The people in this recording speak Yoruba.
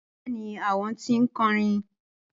Bẹẹni, awọn ti nkọrin